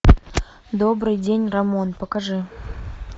добрый день рамон покажи